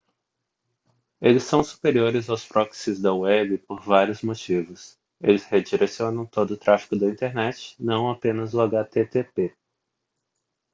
eles são superiores aos proxies da web por vários motivos eles redirecionam todo o tráfego da internet não apenas o http